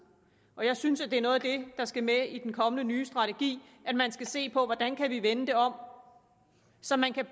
og jeg synes at det er noget af det der skal med i den kommende ny strategi at man skal se på hvordan vi kan vende det om så man kan